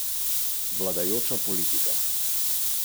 Očitno je vse skupaj povezano s politiko, vendar sama nimam nič s tem.